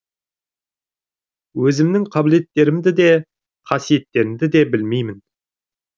өзімнің қабілеттерімді де қасиеттерімді де білмеймін